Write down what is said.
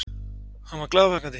Hann var glaðvakandi.